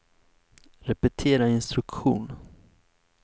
repetera instruktion